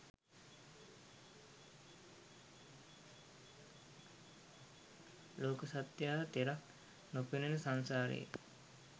ලෝක සත්වයා තෙරක් නොපෙනෙන සංසාරයේ